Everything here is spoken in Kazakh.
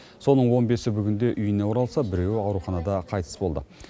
соның он бесі бүгінде үйіне оралса біреуі ауруханада қайтыс болды